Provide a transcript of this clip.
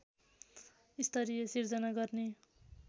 स्तरीय सिर्जना गर्ने